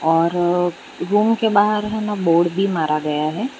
और रूम के बाहर हेना बोर्ड भी मारा गया है।